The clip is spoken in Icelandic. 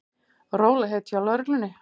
Rólegheit hjá lögreglunni